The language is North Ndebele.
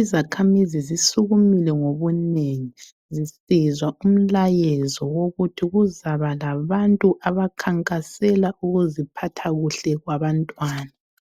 Izakhamizi zisukumile ngobunengi zisizwa umlayezo wokuthi kuzaba labantu abakhankasela ukuziphatha kuhle kwabantwana.